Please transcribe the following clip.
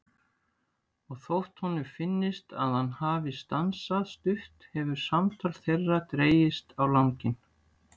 Og þótt honum finnist að hann hafi stansað stutt hefur samtal þeirra dregist á langinn.